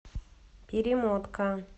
перемотка